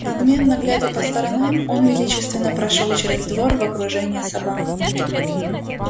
надменно глядя по сторонам он величественно прошёл через двор в окружении собак